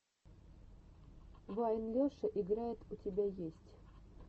вайн леша играет у тебя есть